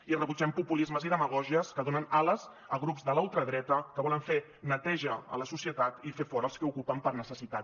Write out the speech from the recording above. i rebutgem populismes i demagògies que donen ales a grups de la ultradreta que volen fer neteja a la societat i fer fora els que ocupen per necessitat